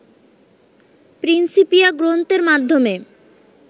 Principia গ্রন্থের মাধ্যমে